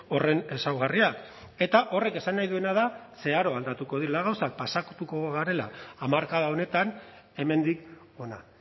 horren ezaugarriak eta horrek esan nahi duena da zeharo aldatuko direla gauzak pasatuko garela hamarkada honetan hemendik hona